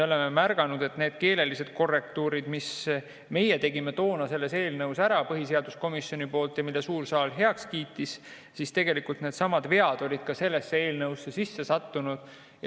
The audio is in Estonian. Me märkasime, et need keelelised korrektuurid, mis meie tegime toona selles eelnõus ära põhiseaduskomisjoni poolt ja mille suur saal heaks kiitis, needsamad vead olid ka sellesse eelnõusse sisse sattunud.